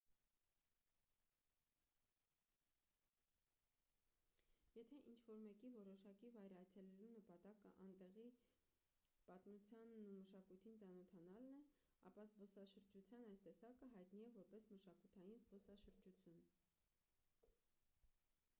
եթե ինչ-որ մեկի որոշակի վայր այցելելու նպատակը այնտեղի պատմությանն ու մշակույթին ծանոթանալն է ապա զբոսաշրջության այս տեսակը հայտնի է որպես մշակութային զբոսաշրջություն